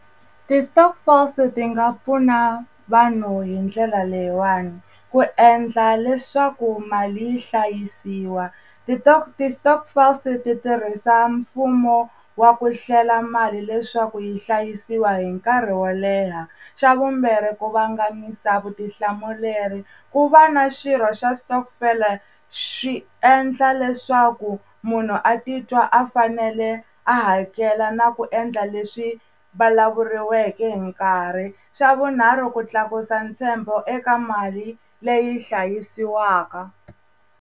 Ti-stokvels ti nga pfuna vanhu hi ndlela leyiwani ku endla leswaku mali yi hlayisiwa ti-stokvels ti tirhisa mfumo wa ku hlela mali leswaku yi hlayisiwa hi nkarhi wo leha, xa vumbirhi ku vangamisa vutihlamuleri, ku va na xirho xa xitokofela swi endla leswaku munhu a titwa a fanele a hakela na ku endla leswi vulavuriweki hi nkarhi, swa vunharhu ku tlakusa ntshembo eka mali leyi hlayisiwaka.